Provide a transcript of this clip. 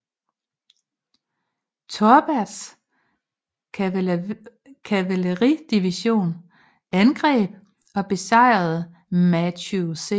Torberts kavaleridivision angreb og besejrede Matthew C